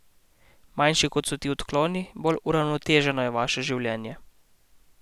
Manjši kot so ti odkloni, bolj uravnoteženo je vaše življenje.